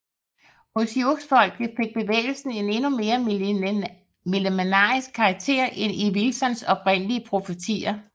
Hos siouxfolket fik bevægelsen en endnu mere millenaristisk karaktér end i Wilsons oprindelige profetier